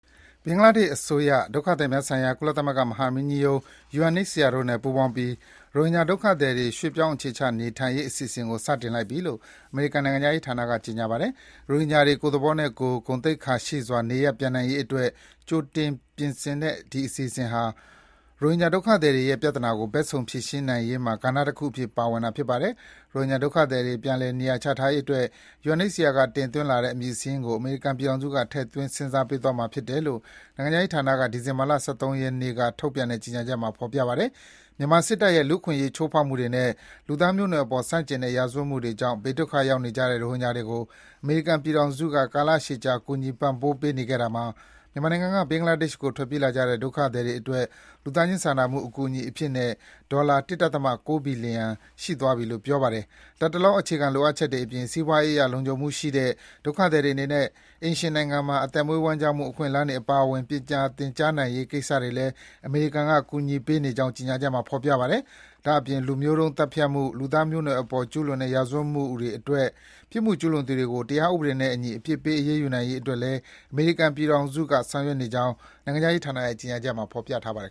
ဘင်္ဂလားဒေ့ရှ်အစိုးရနဲ့ ဒုက္ခသည်များဆိုင်ရာ ကုလသမဂ္ဂမဟာမင်းကြီးရုံး UNHCR အဖွဲ့တို့ ပူးပေါင်းပြီး ရိုဟင်ဂျာဒုက္ခသည်တွေ ရွှေ့ပြောင်းအခြေချနေထိုင်နိုင်ရေး အစီအစဉ်ကို စတင်လိုက်ပြီလို့ အမေရိကန် နိုင်ငံခြားရေးဌာနက ကြေညာပါတယ်။ ရိုဟင်ဂျာတွေ ကိုယ့်သဘောနဲ့ကိုယ်၊ ဂုဏ်သိက္ခာရှိစွာ နေရပ်ပြန်နိုင်ရေးအတွက် ကြိုတင်ပြင်တဲ့ ဒီအစီအစဉ်ဟာ ရိုဟင်ဂျာဒုက္ခသည်တွေရဲ့ ပြဿနာကို ဘက်စုံ ဖြေရှင်းနိုင်ရေးမှာ ကဏ္ဍတခုအဖြစ် ပါဝင်တာဖြစ်ပါတယ်။ ရိုဟင်ဂျာဒုက္ခသည်တွေ ပြန်လည် နေရာချထားရေးအတွက် UNHCR က တင်သွင်းလာတဲ့ အမည်စာရင်းကို အမေရိကန်ပြည်ထောင်စုက ထည့်သွင်း စဉ်းစားပေးသွားမှာ ဖြစ်တယ်လို့ နိုင်ငံခြားရေးဌာနက ဒီဇင်ဘာ ၁၃ ရက်က ထုတ်ပြန်တဲ့ ကြေညာချက်မှာ ဖော်ပြထားပါတယ်။ မြန်မာစစ်တပ်ရဲ့ လူ့အခွင့်အရေးချိုးဖောက်မှုတွေနဲ့ လူသားမျိုးနွယ်စုအပေါ်ဆန့်ကျင်တဲ့ ရာဇဝတ်မှုတွေကြောင့် ဘေးဒုက္ခရောက်နေကြတဲ့ ရိုဟင်ဂျာတွေကို အမေရိကန်ပြည်ထောင်စုက ကာလရှည်ကြာ ကူညီပံ့ပိုးပေးနေခဲ့တာမှာ မြန်မာနိုင်ငံကနေ ဘင်္ဂလားဒေ့ရှ်ကို ထွက်ပြေးလာကြတဲ့ ဒုက္ခသည်တွေအတွက် လူသားချင်းစာနာမှု အကူအညီအဖြစ်နဲ့ ဒေါ်လာ ၁.၉ ဘီလီယံ ရှိသွားပြီဖြစ်လို့ ပြောပါတယ်။ လတ်တလော အခြေခံလိုအပ်ချက်တွေအပြင် စီးပွားရေးအရ လုံခြံမှုရှိတဲ့၊ ဒုက္ခသည်တွေအနေနဲ့ အိမ်ရှင်နိုင်ငံမှာ အသက်မွေးဝမ်းကျောင်းမှု အခွင့်အလမ်းတွေ အပါအဝင် ပညာသင်ကြားနိုင်ရေးကိစ္စတွေလည်း အမေရိကန်ကကူညီပေးနေကြောင်း ကြေညာချက်မှာ ဖော်ပြပါတယ်။ ဒါ့အပြင် လူမျိုးတုန်းသတ်ဖြတ်မှု၊ လူသားမျိုးနွယ်စုအပေါ်ကျူးလွန်တဲ့ ရာဇဝတ်မှုတွေအတွက် ပြစ်မှုကျူးလွန်သူတွေကို တရားဥပဒေနဲ့အညီ အပြစ်ပေး အရေးယူနိုင်ရေးအတွက်လည်း အမေရိကန်ပြည်ထောင်စုက ဆောင်ရွက်နေကြောင်း နိုင်ငံခြားရေးဌာနရဲ့ ကြေညာချက်မှာ ဖော်ပြထားပါတယ်